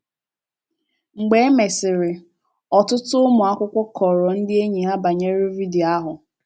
“ Mgbe e mesịrị, ọtụtụ ụmụ akwụkwọ kọọrọ ndị enyi ha banyere vidio ahụ.